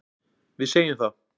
Við segjum það.